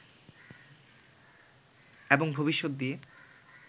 এবং ভবিষ্যত দিয়ে